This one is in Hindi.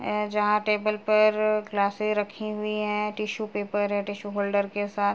ए यहाँ टेबल पर ग्लासेज रखी हुई है। टिश्यू पेपर टिश्यू होल्डर के साथ --